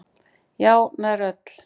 Já, nær öll.